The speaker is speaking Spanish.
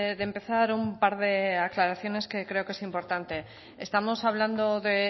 de empezar un par de aclaraciones que creo que es importante estamos hablando de